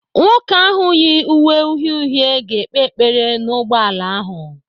Nwoke ahu yi uwe uhie uhie ga-ekpe ekpere n'ugboala ahụ.